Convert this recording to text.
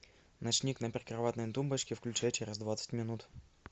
ночник на прикроватной тумбочке включай через двадцать минут